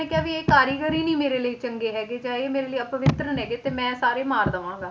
ਉਹਨੇ ਕਿਹਾ ਵੀ ਇਹ ਕਾਰੀਗਰ ਹੀ ਨੀ ਮੇਰੇ ਲਈ ਚੰਗੇ ਹੈਗੇ ਜਾਂ ਇਹ ਮੇਰੇ ਲਈ ਅਪਵਿੱਤਰ ਹੈਗ ਤੇ ਮੈਂ ਸਾਰੇ ਮਾਰ ਦੇਵਾਂਗਾ,